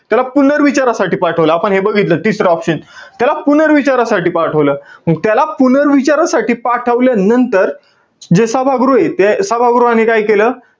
त्याला पुनर्विचारासाठी पाठवलं. आपण हे बघितलं. तिसरं option. त्याला पुनर्विचारासाठी पाठवलं. मंग त्याला पुनर्विचारासाठी पाठवल्यानंतर, जे सभागृहय, ते सभागृहाने काय केलं?